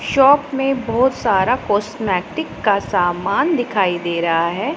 Shop में बहोत सारा कॉस्मेटिक का सामान दिखाई दे रहा है।